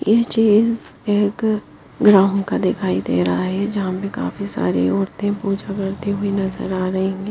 ये चेन एक ग्राम का दिखाई दे रहा है जहां में काफी सारी औरतें पूजा करती हुई नजर आ रही है।